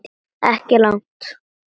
Ekki langt.